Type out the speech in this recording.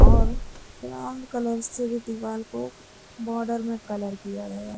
और brown colour से दीवार को बॉर्डर में कलर किया गया है।